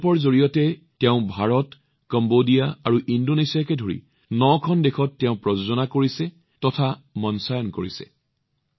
এই প্ৰকল্পৰ জৰিয়তে তেওঁ ভাৰত কম্বোডিয়া আৰু ইণ্ডোনেছিয়াকে ধৰি নখন দেশত প্ৰস্তুত কৰিছে আৰু মঞ্চ প্ৰদৰ্শনো আগবঢ়াইছে